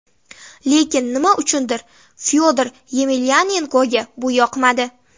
Lekin nima uchundir Fyodor Yemelyanenkoga bu yoqmadi.